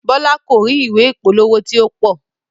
Bọlá ko ri ìwé ìpolówó ti o pọ.